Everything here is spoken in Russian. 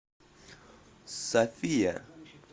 софия